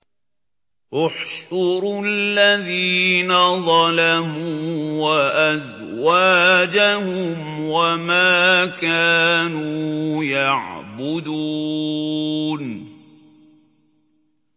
۞ احْشُرُوا الَّذِينَ ظَلَمُوا وَأَزْوَاجَهُمْ وَمَا كَانُوا يَعْبُدُونَ